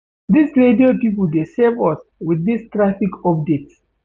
Dis radio pipo dey save us wit dis traffic updates.